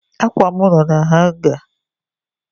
Akwa m no na hanga